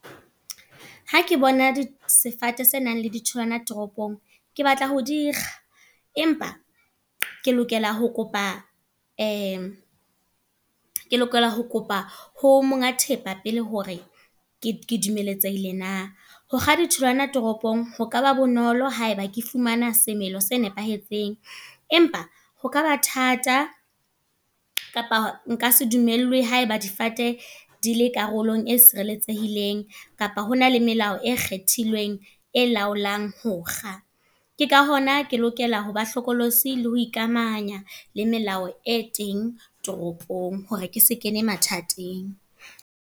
Ha ke bona di sefate se nang le di tholwana toropong. Ke batla ho dikga. Empa, ke lokela ho kopa ke lokela ho kopa ho monga thepa pele hore ke dumeletsehile na. Hokga di tholwana toropong ho ka ba bonolo haeba ke fumana semelo se nepahetseng. Empa ho ka ba thata, kapa nka se dumellwe haeba difate di le karolong e e sireletsehileng. Kapa hona le melao e kgethilweng e laolang hokga. Ke ka hona ke lokela ho ba hlokolosi le ho ikamahanya le melao e teng toropong. Hore ke se kene mathateng.